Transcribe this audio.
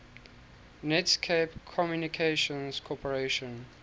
netscape communications corporation